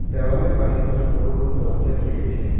দ্যাওয়ালের পাশে অনেক বড় বড় দরজা রয়েছে।